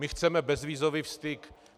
My chceme bezvízový styk.